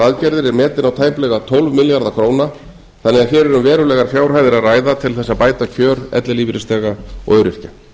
er metinn á tæplega tólf milljarða króna þannig að hér er um verulegar fjárhæðir að ræða til þess að bæta kjör ellilífeyrisþega og öryrkja